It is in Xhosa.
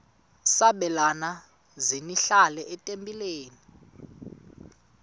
sabelani zenihlal etempileni